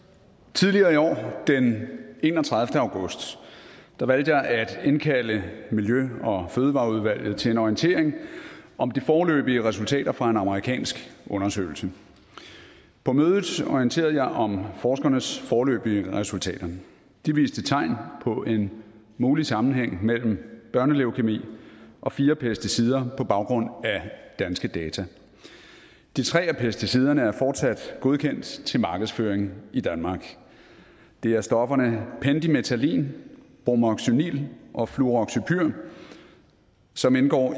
tidligere i år den enogtredivete august valgte jeg at indkalde miljø og fødevareudvalget til en orientering om de foreløbige resultater fra en amerikansk undersøgelse på mødet orienterede jeg om forskernes foreløbige resultater de viste tegn på en mulig sammenhæng mellem børneleukæmi og fire pesticider på baggrund af danske data de tre af pesticiderne er fortsat godkendt til markedsføring i danmark det er stofferne pendimethalin bromoxynil og fluroxypyr som indgår